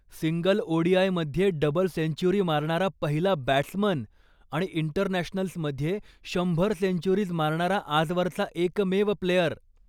Single ओडीआयमध्ये double century मारणारा पहिला बॅट्समन, आणि इंटरनॅशनल्समध्ये शंभर सेंच्युरीज मारणारा आजवरचा एकमेव प्लेयर.